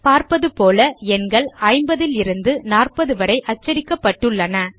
பார்ப்பது போல எண்கள் 50 லிருந்து 40 வரை அச்சடிடப்பட்டுள்ளன